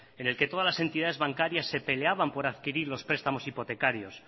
en el que todas las entidades bancarias se peleaban por adquirir los prestamos hipotecarios